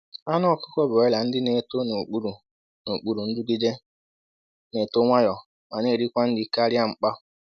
Anụ ọkụkọ broiler ndị na-eto n’okpuru n’okpuru nrụgide na-eto nwayọ ma na-erikwa nri karịa mkpa.